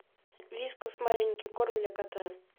вискас маленький корм для кота